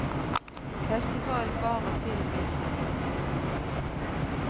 Festivalen varer til og med søndag. punktum